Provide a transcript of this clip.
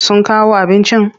Sun kawo abincin?